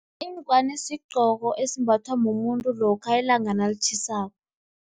Ingwani sigqoko, esimbathwa mumuntu lokha ilanga nalitjhisako.